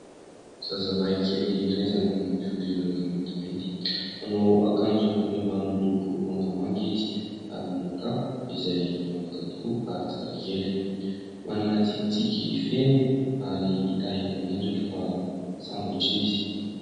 Zazalahikely iray izay manana fiodirana maintimainty. Manao akanjo ambony ambany miloko mangamanga izy ary manao kapa izay mihavaka tokoa ary tsara kely. Manana tsikitsiky feno ary hita eny amin'ny endriny fa sambatra izy.